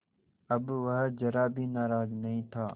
अब वह ज़रा भी नाराज़ नहीं था